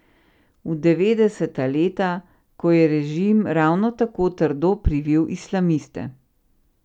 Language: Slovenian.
V devetdeseta leta, ko je režim ravno tako trdo privil islamiste.